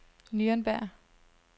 Nürnberg